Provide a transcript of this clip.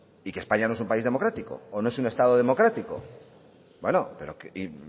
y que españa no es un país democrático o no es un estado democrático bueno pero